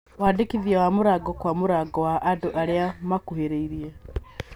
Wandĩkithia wa mũrango kwa mũrango wa andũ arĩa magũkuhĩrĩirie